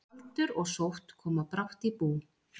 Aldur og sótt koma brátt í bú.